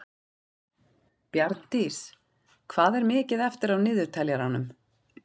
Bjarndís, hvað er mikið eftir af niðurteljaranum?